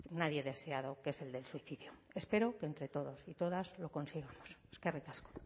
nadie deseado que es el del suicidio espero que entre todos y todas lo consigamos eskerrik asko